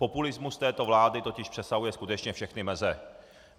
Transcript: Populismus této vlády totiž přesahuje skutečně všechny meze.